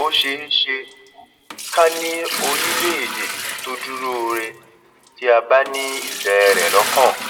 ó ṣeé ṣe ká ṣe ká ní orílẹèdè tó dúróore tí a bá ní ìfẹ rẹ lọkàn